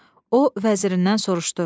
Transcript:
O vəzirindən soruşdu: